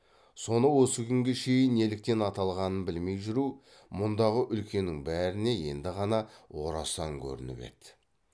соны осы күнге шейін неліктен аталғанын білмей жүру мұндағы үлкеннің бәріне енді ғана орасан көрініп еді